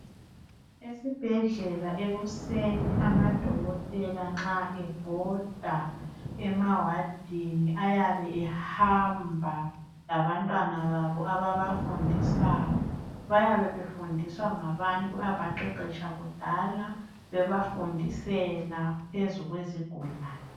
Esibhedlela ekuseni amadokotela nxa ebhoda emawadini ayabe ehamba labantwana babo ababafundisayo. Bayabe befundiswa ngabantu abaqeqesha kudala bebafundisela phezu kwezigulane.